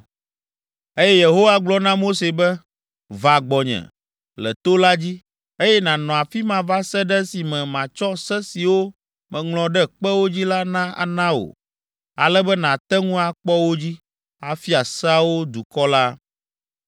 Eye Yehowa gblɔ na Mose be, “Va gbɔnye le to la dzi, eye nànɔ afi ma va se ɖe esime matsɔ Se siwo meŋlɔ ɖe kpewo dzi la ana wò, ale be nàte ŋu akpɔ wo dzi, afia seawo dukɔ la.”